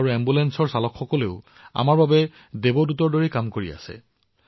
যেতিয়া এম্বুলেন্স এজন ৰোগীৰ ওচৰলৈ যায় তেওঁলোকে এম্বুলেন্স চালকক দেৱদূতৰ দৰে অনুভৱ কৰে